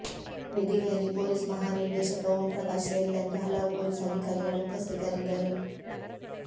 ವೇದಿಕೆಯಲ್ಲಿ ಪೊಲೀಸ್ ಮಹಾ ನಿರ್ದೇಶಕ ಓಂಪ್ರಕಾಶ್ ಸೇರಿದಂತೆ ಹಲವು ಪೊಲೀಸ್ ಅಧಿಕಾರಿಗಳು ಉಪಸ್ಥಿತರಿದ್ದರು